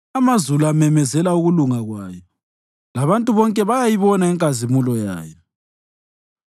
Amazulu amemezela ukulunga kwayo, labantu bonke bayayibona inkazimulo yayo.